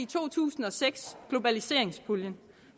to tusind og seks globaliseringspuljen